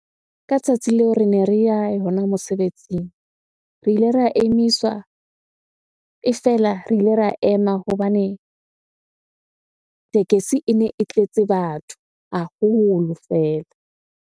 Ka tsatsi leo rene re ya hona mosebetsing. Re ile ra emiswa, e fela re ile ra ema hobane tekesi ene e tletse batho haholo fela.